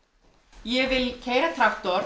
ég vil keyra